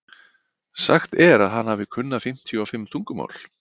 Sagt er að hann hafi kunnað fimmtíu og fimm tungumál.